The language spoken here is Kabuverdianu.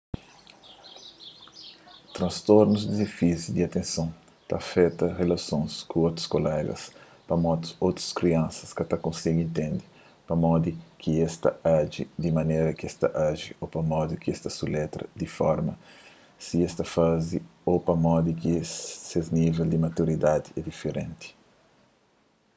transtornu di defisi di atenson ta afeta rilasons ku otus kulega pamodi otus kriansa ka ta konsigi intende pamodi ki es ta aji di manera kes ta aji ô pamodi ki es ta suletra di forma si es ta faze ô pamodi ki ses nível di maturidadi é diferenti